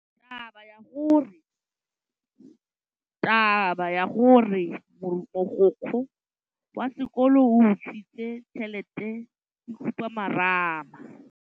Taba ya gore mogokgo wa sekolo o utswitse tšhelete ke khupamarama.